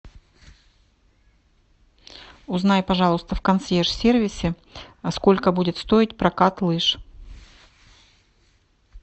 узнай пожалуйста в консьерж сервисе сколько будет стоить прокат лыж